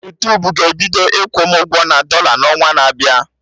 Yuutubuga-ebido ịkwụ m ụgwọ na dọla n'ọnwa na-abịa